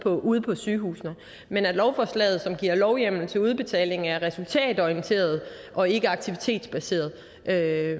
ude på sygehusene men at lovforslaget som giver lovhjemmel til udbetaling er resultatorienteret og ikke aktivitetbaseret er